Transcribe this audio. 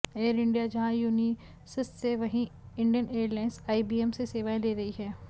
air India जहां Unisys से वहीं इंडियन एयरलायंस आईबीएम से सेवाएं ले रही हैं